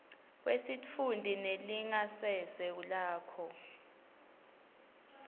kwesitfunti nelingasese lakho